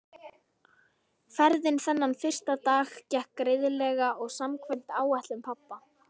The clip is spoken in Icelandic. Ferðin þennan fyrsta dag gekk greiðlega og samkvæmt áætlun pabba.